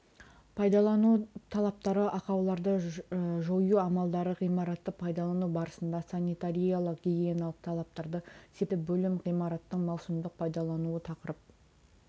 пайдалану талаптары ақауларды жою амалдары ғимаратты пайдалану барысында санитариялық гигиеналық талаптарды сипаттайды бөлім ғимараттың маусымдық пайдалануы тақырып